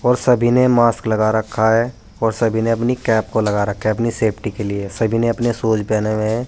और सभी ने मास्क लगा रखा है और सभी ने अपनी कैप को लगा रखा है अपनी सेप्टी के लिए सभी ने अपने शूज पहने हुए हैं।